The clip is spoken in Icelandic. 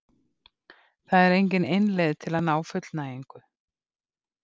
Það er engin ein leið til að ná fullnægingu.